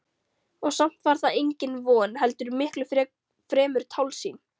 Og samt var það engin von heldur miklu fremur tálsýn.